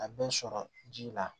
A bɛ sɔrɔ ji la